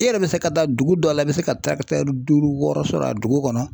E yɛrɛ bɛ se ka taa dugu dɔ la i bɛ se ka duuru wɔɔrɔ sɔrɔ a dugu kɔnɔ